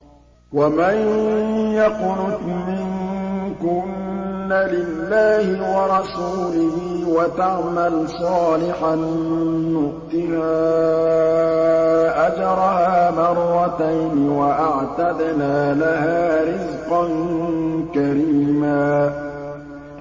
۞ وَمَن يَقْنُتْ مِنكُنَّ لِلَّهِ وَرَسُولِهِ وَتَعْمَلْ صَالِحًا نُّؤْتِهَا أَجْرَهَا مَرَّتَيْنِ وَأَعْتَدْنَا لَهَا رِزْقًا كَرِيمًا